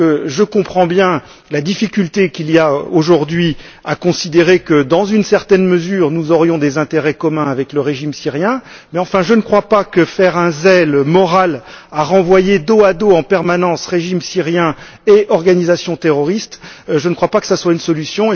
Je comprends bien la difficulté qu'il y a aujourd'hui à considérer que, dans une certaine mesure, nous aurions des intérêts communs avec le régime syrien mais je ne crois pas que faire du zèle moral à renvoyer dos à dos, en permanence, régime syrien et organisations terroristes soit une solution.